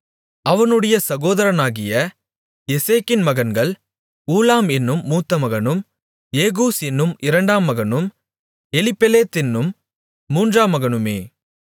அவனுடைய சகோதரனாகிய எசேக்கின் மகன்கள் ஊலாம் என்னும் மூத்தமகனும் ஏகூஸ் என்னும் இரண்டாம் மகனும் எலிப்பெலேத் என்னும் மூன்றாம் மகனுமே